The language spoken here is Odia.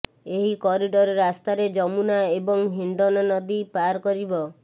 ଏହି କରିଡର ରାସ୍ତାରେ ଯମୁନା ଏବଂ ହିଣ୍ଡନ୍ ନଦୀ ପାର କରିବ